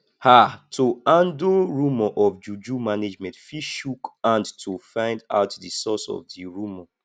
um to handle rumour of juju management fit chook hand to find out di source of di rumour